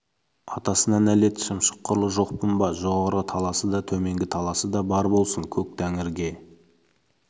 атасына нәлет шымшық құрлы жоқпын ба жоғарғы таласы да төменгі таласы да бар болсын көк тәңірге